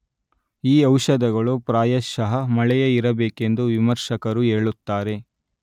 ಈ ಔಷಧಗಳು ಪ್ರಾಯಶಃ ಮಳೆಯೇ ಇರಬೇಕೆಂದು ವಿಮರ್ಶಕರು ಹೇಳುತ್ತಾರೆ.